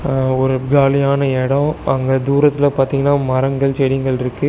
அ ஒரு காலியான எடோ அங்க தூரத்துல பாத்தீங்கன்னா மரங்கள் செடிங்கள்ருக்கு.